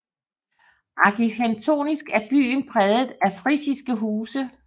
Arkitektonisk er byen præget af frisiske huse